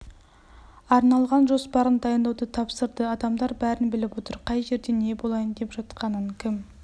арналған жоспарын дайындауды тапсырды адамдар бәрін біліп отыр қай жерде не болайын деп жатқанын кім